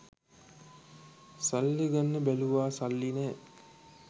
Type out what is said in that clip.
සල්ලි ගන්න බැලුව සල්ලි නෑ